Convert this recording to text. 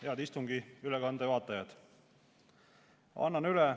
Head istungi ülekande vaatajad!